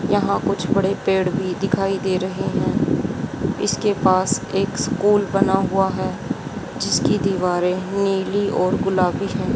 यहां कुछ बड़े पेड़ भी दिखाई दे रहे हैं इसके पास एक स्कूल बना हुआ है जिसकी दीवारें नीली और गुलाबी हैं।